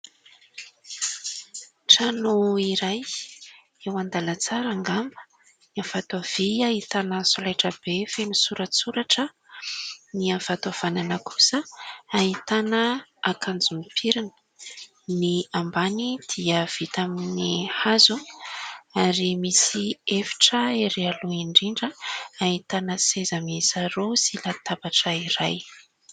Trano iray eo andalantsara angamba, ny avy ato havia ahitana solaitra be feno soratsoratra, ny avy ato havanana kosa ahitana akanjo mimpirina, ny ambany dia vita amin'ny hazo ary misy efitra erỳ aloha indrindra, ahitana seza miisa roa sy latabatra iray.